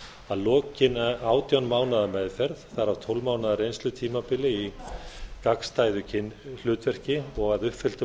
að lokinni átján mánaða meðferð þar af tólf mánaða reynslutímabili í gagnstæðu kynhlutverki og að uppfylltum